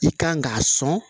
I kan k'a sɔn